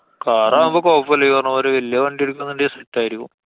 കാറാവുമ്പോ കൊഴപ്പല്ല്യാ. ഈ പറഞ്ഞമാതിരി വല്ല്യേ വണ്ടി എട്ക്കാന്നുണ്ടേല്‍ set ആയിരിക്കും.